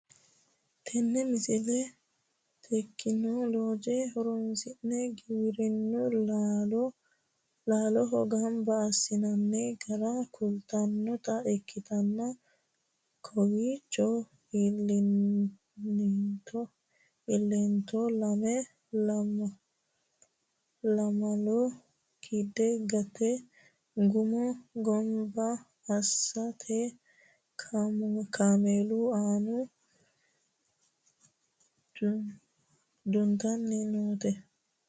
tini misile tekinooleje horonsi'ne giwirinnu laalcho ganba assinanni gara kultannota ikkitanna kowiichono iillinito laamlo kidde gante guma ganba assite kameeelu aana duntanni noote